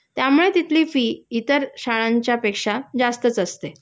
त्यामुळे तिथली फी इतर शाळांच्यापेक्षा जास्तच असते